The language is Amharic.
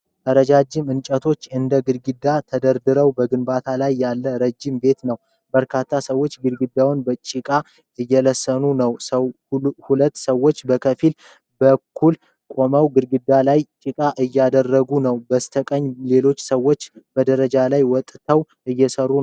ረጃጅም እንጨቶች እንደ ግድግዳ ተደርድረው በግንባታ ላይ ያለ ረጅም ቤት ነው። በርካታ ሰዎች ግድግዳውን በጭቃ እየለሰኑ ነው። ሁለት ሰዎች ከፊት በኩል ቆመው ግድግዳው ላይ ጭቃ እያደረጉ ነው። ከበስተቀኝ ሌሎች ሰዎች በደረጃ ላይ ወጥተው እየሰሩ ነው።